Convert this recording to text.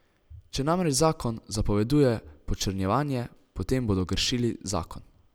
Če namreč zakon zapoveduje počrnjevanje, potem bodo kršili zakon.